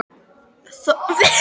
Þórhildur: Myndirðu vilja það?